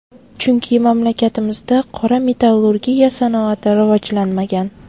Chunki mamlakatimizda qora metallurgiya sanoati rivojlanmagan.